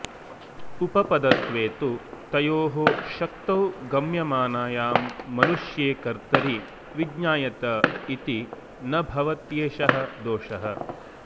उपपदत्वे तु तयोः शक्तौ गम्यमानायां मनुष्ये कत्र्तरि विज्ञायत इति न भवत्येष दोषः